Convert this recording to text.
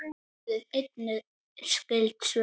Skoðið einnig skyld svör